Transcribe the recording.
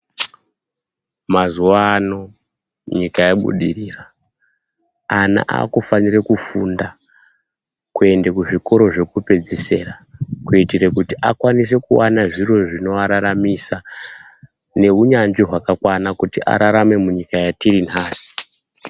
Mazuwaano nyika yabudirira. Ana akufanire kufunda, kuende kuzvikoro zvokupedzisira, kuiitire kuti akwanise kuwana zviro zvinovararamisa, neunyanzvi hwakakwana kuti ararame munyika yatiri nhasi.